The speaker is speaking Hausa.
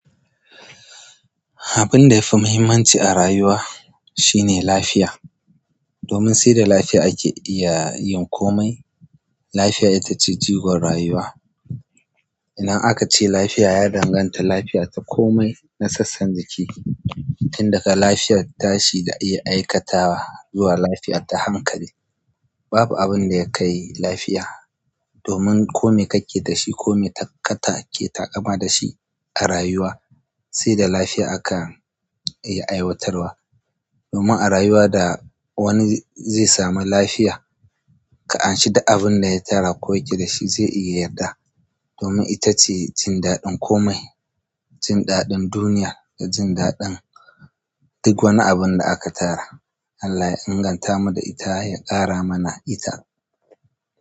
Abun da yafi muhimmanci a rayuwa shine lafiya. Domin sai da lafiya ake iya yin komai. Lafiya ita ce jigon rayuwa. Idan aka ce lafiya, ya danganta lafiya ta komai na sassan jiki. Inda ka lafiya tashi da iya aikatawa zuwa lafiya ta hankali babu abin da ya kai lafiya. Domin komai kake da shi, komai kata ke taƙama da shi a rayuwa, sai da lafiya aka iya aiwatarwa. Domin a rayuwa da wani zai sami lafiya, ka amshi da abin da ya tara. Ko yake da shi zai iya yarda. Domin ita ce jin daɗin komai jin daɗin duniya da jin daɗin duk wanni abun da aka tara Allah ya inganta mu da ita, ya ƙara mana ita.